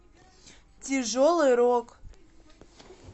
тяжелый рок